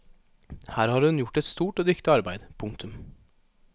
Her har hun gjort et stort og dyktig arbeid. punktum